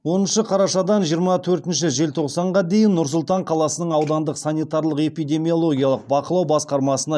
оныншы қарашадан жиырма төртінші желтоқсанға дейін нұр сұлтан қаласының аудандық санитарлық эпидемиологиялық бақылау басқармасына